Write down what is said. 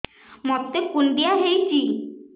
ମୋତେ କୁଣ୍ଡିଆ ହେଇଚି